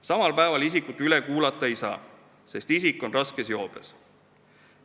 Samal päeval isikut üle kuulata ei saa, sest ta on raskes joobes.